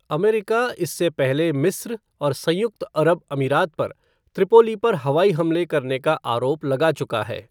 America इससे पहले मिस्र और संयुक्त अरब अमीरात पर त्रिपोली पर हवाई हमले करने का आरोप लगा चुका है।